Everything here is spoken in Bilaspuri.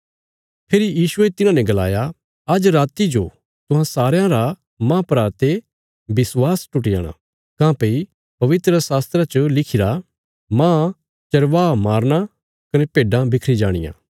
फेरी यीशुये तिन्हांने गलाया आज्ज राति जो तुहां सारयां रा माह परा ते विश्वास टुटी जाणा काँह्भई पवित्रशास्त्रा च लिखिरा माह चरवाहा मारना कने भेड्डां बिखरी जाणियां